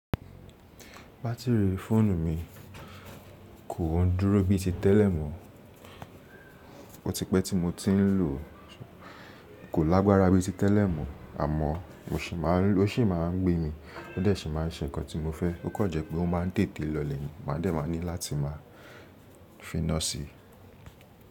Batiri fóònù mi kò ń dúró bí i ti tẹ́lẹ̀ mọ́. Ó ti pẹ́ tí mo ti ń lò ó, kò lágbára bí i ti tẹ́lẹ̀ mọ́, àmọ́ ó ṣì máa ń gbé mi, ó dẹ̀ ṣì má ń ṣe nǹkan tí mo fẹ́, ó kàn jẹ́ pé ó máa ń tètè lọlẹ̀, má dẹ̀ má ní láti máa finá sí i.